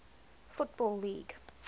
football league